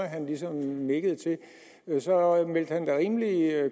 han ligesom nikkede til var rimelig